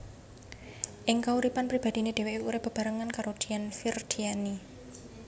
Ing kauripan pribadiné dheweké urip bebarengan karo Dian Firdianie